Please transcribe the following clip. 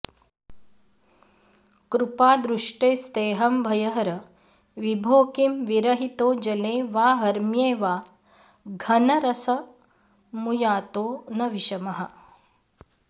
कृपादृष्टेस्तेहं भयहर विभो किं विरहितो जले वा हर्म्ये वा घनरसमुयातो न विषमः